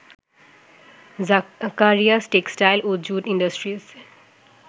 Zakaria textile ও jute ইন্ডাস্ট্রিজে